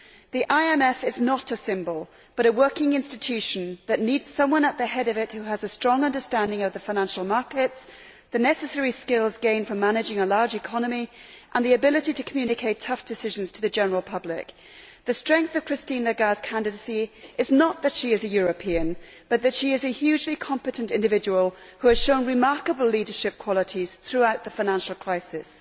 The IMF is not a symbol but a working institution that needs someone at the head of it who has a strong understanding of the financial markets, the necessary skills gained from managing a large economy and the ability to communicate tough decisions to the general public. The strength of Christine Lagarde's candidacy is not that she is a European, but that she is a hugely competent individual who has shown remarkable leadership qualities throughout the financial crisis.